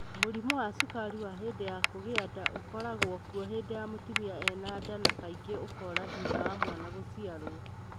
Mũrimũ wa cukari wa hĩndĩ ya kũgĩa nda ũkoragwo kuo hĩndĩ mũtumia ena nda na kaingĩ ũkora thutha wa mwana gũciarũo.